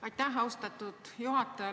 Aitäh, austatud juhataja!